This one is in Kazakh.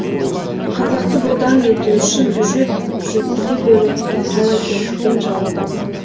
қазақты бодан ету үшін жүз жүзге бөліп айлакерлікпен жаулап алған